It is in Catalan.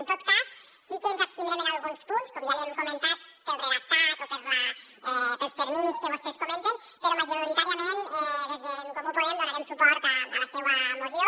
en tot cas sí que ens abstindrem en alguns punts com ja li hem comentat pel redactat o pels terminis que vostès comenten però majoritàriament des d’en comú podem donarem suport a la seua moció